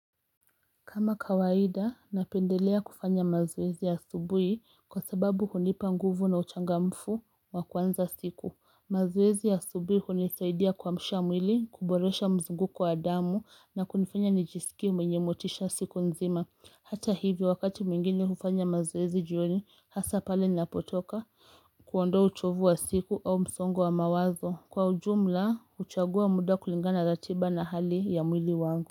Kama kawaida, napendelea kufanya mazoezi ya asubuhi kwa sababu hunipa nguvu na uchangamfu wa kuanza siku. Mazoezi asubuhi hunisaidia kuamsha mwili, kuboresha mzunguko wa damu na kunifanya nijisikie mwenye motisha siku nzima. Hata hivyo wakati mwingine hufanya mazoezi jioni hasa pale ninapotoka kuondoa uchovu wa siku au msongo wa mawazo. Kwa ujumla huchagua muda kulingana na ratiba na hali ya mwili wangu.